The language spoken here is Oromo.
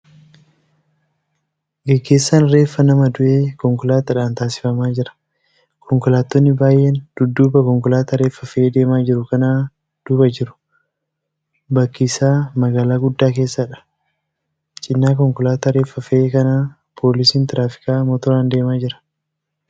Gaaggeessaan reeffa nama du'ee konkolaataadhaan taasifamaa jira. konkoolaattonni baay'een dudduuba konkolaataa reeffa fe'ee deemaa jiruu kana duuba jiru. Bakki isaa magaalaa guddaa keessadha. Cina konkolaataa reeffa fe'ee kanaa poolisiin tiraafikaa motoraan deeemaa jira.